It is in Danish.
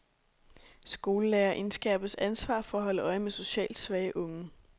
Skolelærere indskærpes ansvar for at holde øje med socialt svage unge.